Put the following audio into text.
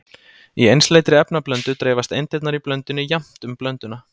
Í einsleitri efnablöndu dreifast eindirnar í blöndunni jafnt um blönduna.